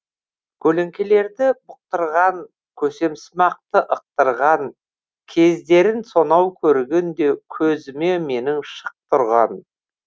көлеңкелерді бұқтырған көсемсымақты ықтырған кездерін сонау көргенде көзіме менің шық тұрған